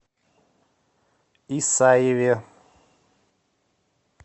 исаеве